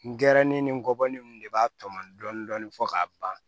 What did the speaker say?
N gɛrɛ ne ni n kɔbɔli in de b'a tɔmɔ dɔɔnin fɔ k'a ban